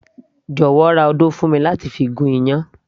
jọ̀wọ́ ra odó fún mi láti gún iyán